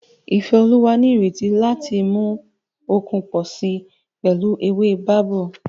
Ifeoluwa ní ìrètí láti mú okun pọ̀ sí i pẹ̀lú ewé babú